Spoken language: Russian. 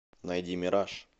найди мираж